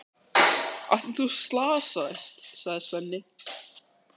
Af því að þú slasaðist, sagði Svenni.